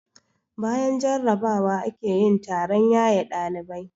Bayan jarrabawa ake yin taron yaye ɗalibai.